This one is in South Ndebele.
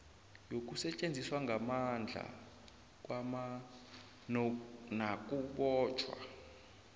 yokusetjenziswa kwamandla nakubotjhwa